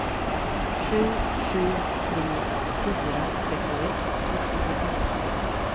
sju sju tre fyra trettioett sexhundraelva